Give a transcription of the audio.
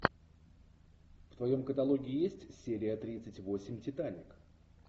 в твоем каталоге есть серия тридцать восемь титаник